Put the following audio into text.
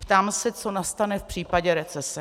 Ptám se, co nastane v případě recese.